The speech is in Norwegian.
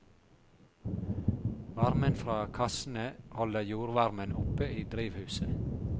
Varmen fra kassene holder jordvarmen oppe i drivhuset.